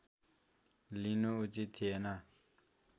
लिनु उचित थिएन